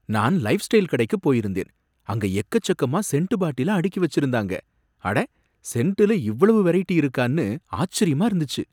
நான் லைஃப்ஸ்டைல் கடைக்கு போயிருந்தேன். அங்க எக்கச்செக்கமா சென்ட் பாட்டில அடுக்கி வச்சிருந்தாங்க. அட! சென்டுல இவ்வளவு வெரைட்டி இருக்கான்னு ஆச்சரியமா இருந்துச்சு!